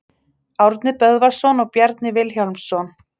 Árni Böðvarsson og Bjarni Vilhjálmsson.